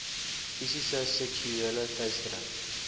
fisiese seksuele teistering